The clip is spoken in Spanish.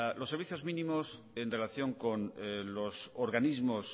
los servicios mínimos en relación con los organismos